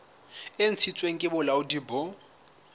e ntshitsweng ke bolaodi bo